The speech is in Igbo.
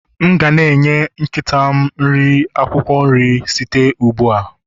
M ga-eri nri nkịta m ga akwụkwọ nri site ugbu a